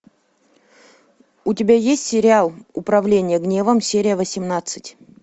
у тебя есть сериал управление гневом серия восемнадцать